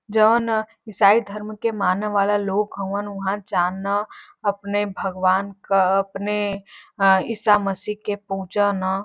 जवन ईसाई धर्म के माने वाला लोग हउवन उहां जा न अपने भगवान क अपने अ ईसा मसीह के पूज न।